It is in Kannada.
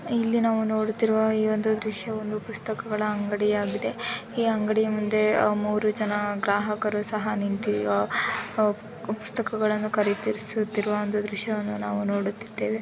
ಇಲ್ಲಿ ನಾವು ನೋಡುತ್ತಿರುವ ಈ ಒಂದು ದೃಶ್ಯ ಒಂದು ಪುಸ್ತಕಗಳ ಅಂಗಡಿಯಾಗಿದೆ ಈ ಅಂಗಡಿಯ ಮುಂದೆ ಮೂರು ಜನ ಗ್ರಾಹಕರು ಸಹ ನಿಂತು ಪುಸ್ತಕಗಳನ್ನು ಖರೀದಿಸುತ್ತಿರುವ ಒಂದು ದೃಶ್ಯವನ್ನು ನಾವು. ನೋಡುತ್ತಿದ್ದೇವೆ